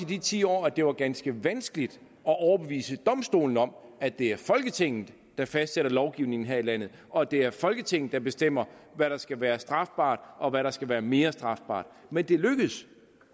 de ti år at det var ganske vanskeligt at overbevise domstolene om at det er folketinget der fastsætter lovgivningen her i landet og at det er folketinget der bestemmer hvad der skal være strafbart og hvad der skal være mere strafbart men det lykkedes